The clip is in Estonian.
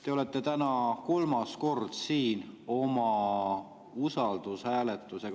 Te olete siin täna kolmas kord usaldushääletusega.